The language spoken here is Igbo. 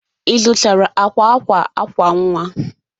Ị zụtara akwa akwa akwa nwa?